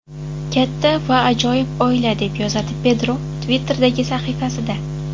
Katta va ajoyib oila”, deb yozadi Pedro Twitter’dagi sahifasida.